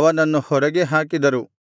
ಅವನನ್ನು ಹೊರಗೆ ಹಾಕಿದರು